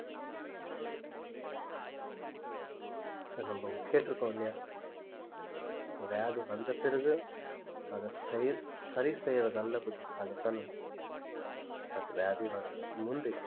so நம்ப கேட்டுருக்கோம் இல்லையா வியாதி வந்த பிறகு அதை செய்~ சரிசெய்றதல்ல புத்திசாலித்தனம் நமக்கு வியாதி வர்றதுக்கு முந்தி